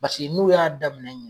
Paseke n'u y'a daminɛ ɲ